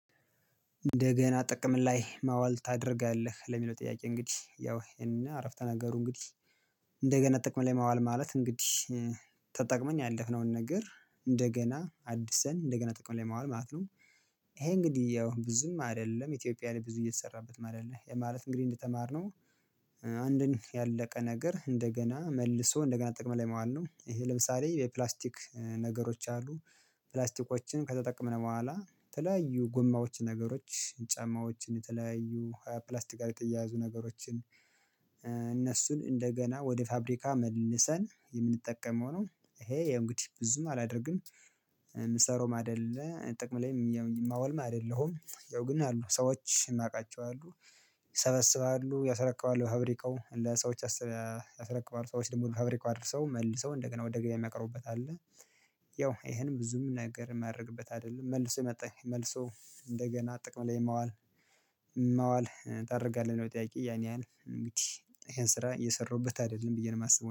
እንደገና ጥቅም ላይ ማዋል ታደርጋለህ ለሚለው ጥያቄ እንግዲህ ያው ይሄንን አረፍተ ነገሩ እንግዲህ እንደገና ጥቅም ላይ ማዋል ማለት እንግዲህ ተጠቅመን ያለፍነውን ነገር እንደገና አድስን እንደገና ጠቅሞ ላይ ማዋል ማለት ነው። ይሄ እንግዲህ ያው ብዙም አይደለም ኢትዮጵያ ላይ ብዙ እየተሰራበትም አይደለም ማለት እንግዲህ እንደተማርነው አንድን ያለቀ ነገር እንደገና መልሶ እንደገና ጥቅም ላይ ማለት ነው። ይሄ ለምሳሌ የፕላስቲክ ነገሮች አሉ። ፕላስቲኮችን ከተጠቀምን በኋላ የተለያዩ ጎማዎች ነገሮች ጫማዎችን ተለያዩ ፕላስቲካል የተያያዙ ነገሮችን እነሱን እንደገና ወደ ፋብሪካ መልሰን የምንጠቀመው ነው። ይሄ እንግዲህ ብዙም አላደርግም። የምሰራውም አይደለ ጥቅም ላይም የማወልም አይደለሁም ያው ግን አሉ ሰዎች የማውቃቸው አሉ። ይሰበስባሉ ያሰረክባሉ ፋብሪካው ለሰዎች ያሰረክባሉ ሰዎች ደግሞ ፋብሪካ አድርሰው መልሰው እንደገና ወደ ገበያ የሚያቀርቡበት አለ። ያው ይሄንም ብዙም ነገር ማድረግበት አይደለም መልሶ መጣ መልሶ እንደገና ጥቅም ላይ ማዋል። ማዋል ታደርጋለህ ነው ጥያቄ ያን ያህል እንግዲህ ይሄን ስራ እየሰራሁበት አይደለም ብዬ ነው የማስበው